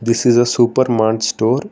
this is a supermart store.